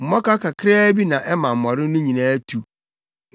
“Mmɔkaw kakraa bi na ɛma mmɔre no nyinaa tu.”